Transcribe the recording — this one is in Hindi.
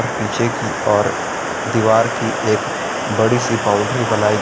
पीछे की ओर दीवार की एक बड़ी सी बाउंड्री बनाई--